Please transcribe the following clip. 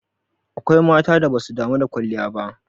Akwai matan da basu damu da kwalliya ba.